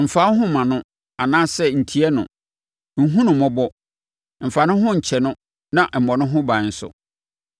mfa wo ho mma no, anaasɛ ntie no. Nhunu no mmɔbɔ. Mfa ne ho nkyɛ no na mmɔ ne ho ban nso.